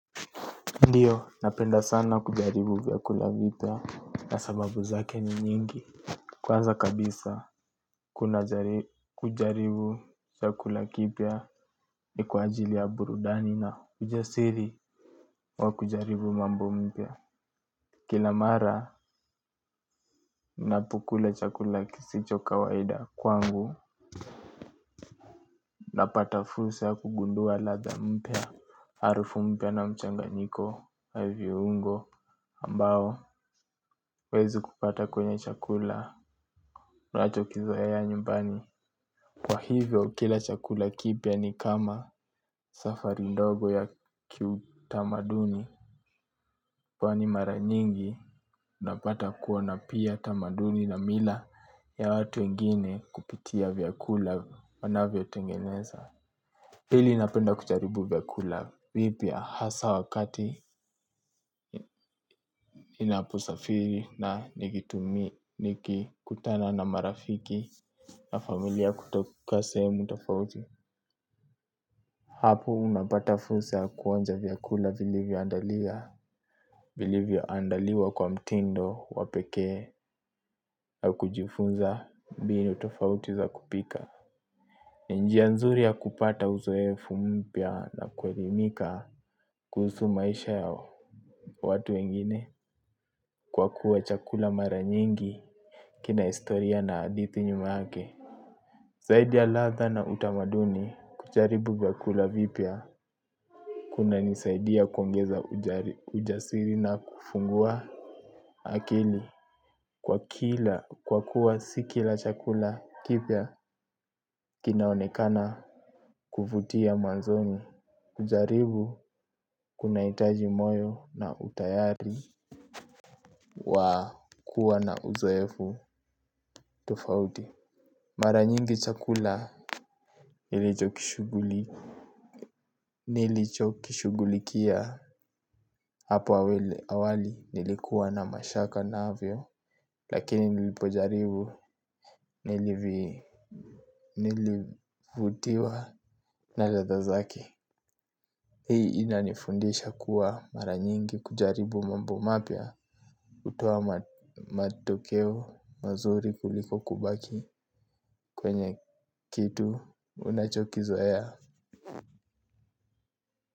Ndio napenda sana kujaribu vyakula vipya na sababu zake ni nyingi. Kwaza kabisa kuna kujaribu chakula kipya ni kwa ajili ya burudani na ujasiri wa kujaribu mambo mpya. Kila mara ninapokula chakula kisicho kawaida kwangu na pata fursa ya kugundua ladha mpya. Harufu mpya na mchanganyiko ya viunyo ambao huwezi kupata kwenye chakula unachokizoea nyumbani. Kwa hivyo kila chakula kipya ni kama safari ndogo ya kiutamaduni. Kwani mara nyingi napata kuona pia tamaduni na mila ya watu wengine kupitia vyakula wanavyotengeneza pili napenda kujaribu vyakula vipya hasa wakati ninaposafiri na nikikutana na marafiki na familia kutoka sehemu tofauti. Hapo unapata fursa ya kuonja vyakula vilivyoandalia vilivyoandaliwa kwa mtindo wa pekee na kujifunza mbinu tofauti za kupika. Njia nzuri ya kupata uzoefu mpya na kuelimika kuhusu maisha ya watu wengine. Kwa kuwa chakula mara nyingi kina historia na hadithi nyuma yake zaidi ya ladha na utamaduni kujaribu vyakula vipya kunanisaidia kuongeza ujasiri na kufungua akili kwa kila kwa kuwa si kila chakula kipya kinaonekana kuvutia mwazoni. Kujaribu kuna hitaji moyo na utayari wa kuwa na uzoefu tofauti. Mara nyingi chakula nilicho kishuguli nilicho kishugulikia hapa awali nilikuwa na mashaka navyo. Lakini nilipojaribu nilivutiwa na ladha zake. Hii inanifundisha kuwa mara nyingi kujaribu mambo mapya hutoa matokeo mazuri kuliko kubaki kwenye kitu unachokizoea.